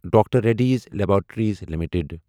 doctor Reddy's laboratories limited